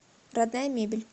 родная мебель